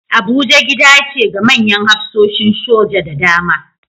Abuja gida ce ga manyan hafsoshin soja da dama